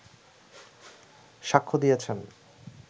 সাক্ষ্য দিয়েছেন